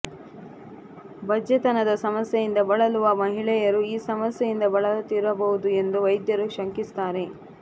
ಬಂಜೆತನದ ಸಮಸ್ಯೆಯಿಂದ ಬಳಲುವ ಮಹಿಳೆಯರು ಈ ಸಮಸ್ಯೆಯಿಂದ ಬಳಲುತ್ತಿರಬಹುದು ಎಂದು ವೈದ್ಯರು ಶಂಕಿಸುತ್ತಾರೆ